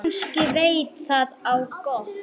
Kannski veit það á gott.